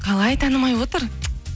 қалай танымай отыр